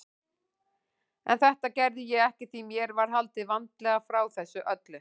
En þetta gerði ég ekki því mér var haldið vandlega frá þessu öllu.